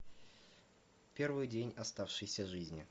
первый день оставшейся жизни